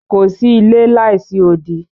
Kò sí ilẹ̀ láísí òdì.